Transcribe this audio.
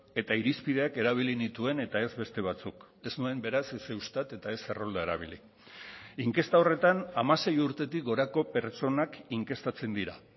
eta irizpideak erabili nituen eta ez beste batzuk ez nuen beraz ez eustat eta ez errolda erabili inkesta horretan hamasei urtetik gorako pertsonak inkestatzen dira